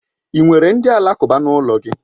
Ị nwere ndị alakụba n'ụlọ gị?